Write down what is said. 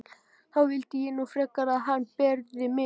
Þá vildi ég nú frekar að hann berði mig.